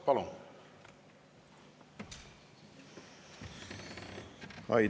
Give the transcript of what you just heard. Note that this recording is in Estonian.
Palun!